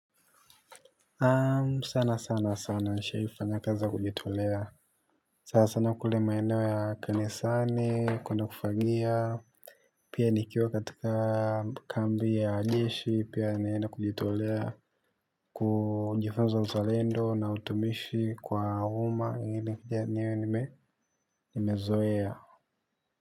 Sana sana sana nishaifanya kazi ya kujitolea. Sana sana kule maeneo ya kanisani kwenda kufagia. Pia nikiwa katika kambi ya jeshi pia nilienda kujitolea. Kujifunza uzalendo na utumishi kwa uma ingeni niwe nimezoea.